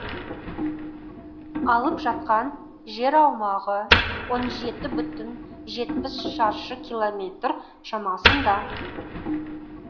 алып жатқан жер аумағы он жеті бүтін жетпіс шаршы километр шамасында